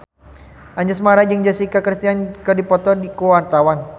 Anjasmara jeung Jessica Chastain keur dipoto ku wartawan